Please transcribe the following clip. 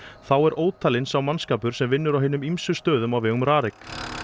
þá er ótalinn sá mannskapur sem vinnur á hinum ýmsu stöðum á vegum RARIK